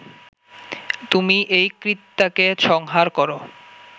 তুমি এই কৃত্যাকে সংহার কর